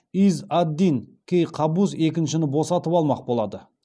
из ад дин кей қабус екіншіні босатып алмақ болады